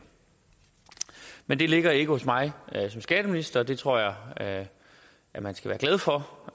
men det ligger ikke hos mig som skatteminister og det tror jeg at man skal være glad for